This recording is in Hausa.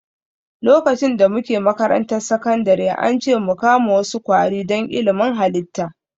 Lokacin da muke makarantar sakandare, an ce mu kama wasu kwari don ilimin halitta